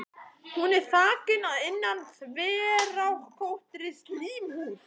Hún er þakin að innan þverrákóttri slímhúð.